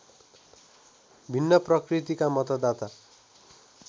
भिन्न प्रकृतिका मतदाता